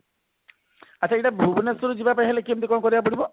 ଆଛା ଏଇଟା ଭୁବନେଶ୍ବର ରୁ ଯିବା ପାଇଁ ହେଲେ କେମତି କଣ କରିବାକୁ ପଡିବ